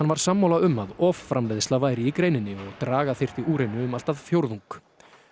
var sammála um að offramleiðsla væri í greininni og draga þyrfti úr henni um allt að fjórðung